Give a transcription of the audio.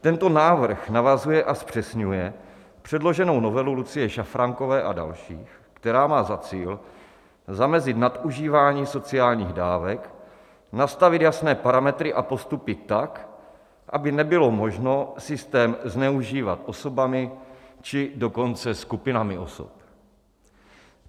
Tento návrh navazuje a zpřesňuje předloženou novelu Lucie Šafránkové a dalších, která má za cíl zamezit nadužívání sociálních dávek, nastavit jasné parametry a postupy tak, aby nebylo možno systém zneužívat osobami, či dokonce skupinami osob.